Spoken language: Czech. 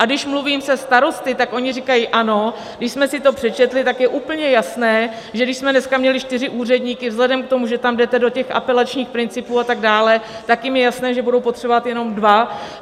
A když mluvím se starosty, tak oni říkají: Ano, když jsme si to přečetli, tak je úplně jasné, že když jsme dneska měli čtyři úředníky vzhledem k tomu, že tam jdete do těch apelačních principů a tak dále, tak jim je jasné, že budou potřebovat jenom dva.